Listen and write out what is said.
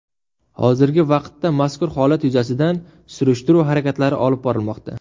Hozirgi vaqtda mazkur holat yuzasidan surishtiruv harakatlari olib borilmoqda.